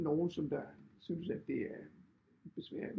Nogle som der synes at det er besværlig